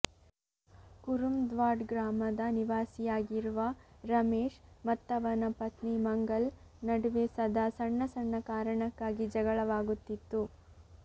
ಕುರುಂದ್ವಾಡ್ ಗ್ರಾಮದ ನಿವಾಸಿಯಾಗಿರುವ ರಮೇಶ್ ಮತ್ತವನ ಪತ್ನಿ ಮಂಗಲ್ ನಡುವೆ ಸದಾ ಸಣ್ಣ ಸಣ್ಣ ಕಾರಣಕ್ಕಾಗಿ ಜಗಳವಾಗುತ್ತಿತ್ತು